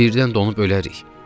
Birdən donub ölərik.